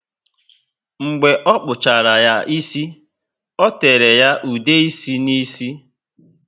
Mgbe ọ kpuchara ya ísì, o tere ya ude ịsị ná ísì